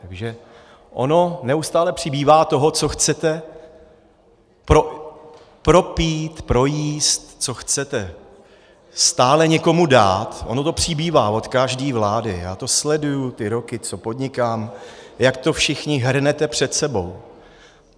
Takže ono neustále přibývá toho, co chcete propít, projíst, co chcete stále někomu dát, ono to přibývá od každé vlády, já to sleduju ty roky, co podnikám, jak to všichni hrnete před sebou.